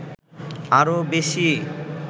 আরো বেশি